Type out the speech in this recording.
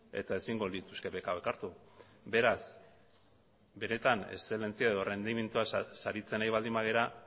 eta ezingo lituzke beka hauek hartu beraz benetan errendimendua saritzen ari baldin bagara